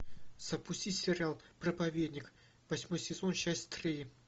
запусти сериал проповедник восьмой сезон часть три